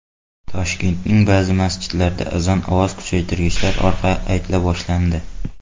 Toshkentning ba’zi masjidlarida azon ovoz kuchaytirgichlar orqali aytila boshlandi.